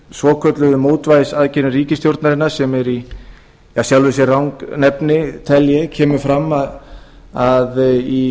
svokölluðu mótvægisaðgerðum ríkisstjórnarinnar sem er í sjálfu sér rangnefni kemur fram að í